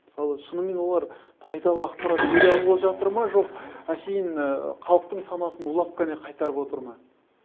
мысалы шынымен олар пайдалы ақпарат бере алып жатыр ма жоқ әшейін халықтың санасын улап қана қайтарып отыр ма